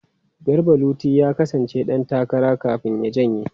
Garba Luti ya kasance dan takara kafin ya janye.